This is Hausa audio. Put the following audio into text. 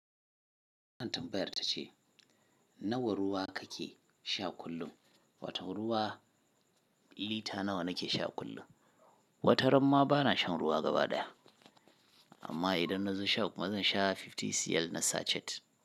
Wannan tambayar ta ce Nawa ruwa kake sha kullum. Wato ruwa, liter nawa nake sha kullum. Wata ran ma ba na shan ruwa gaba daya. Amma idan na zo sha kuma zan sha 50cl na sachet.